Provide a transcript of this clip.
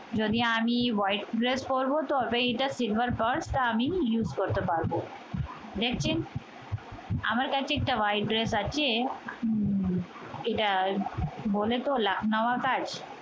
যদিও আমি white dress পডরবো তো, এটা silver purse তো আমি use করতে পারবো। দেখছেন আমার কাছে একটা white dress আছে। এটা বলে তো এটা লাক্ষ্ণৌয়া কাজ